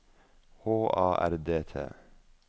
H A R D T